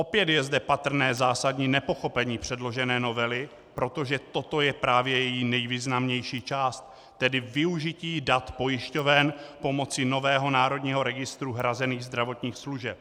Opět je zde patrné zásadní nepochopení předložené novely, protože toto je právě její nejvýznamnější část, tedy využití dat pojišťoven pomocí nového Národního registru hrazených zdravotních služeb.